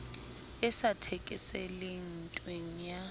e sa thekeseleng ntweng ya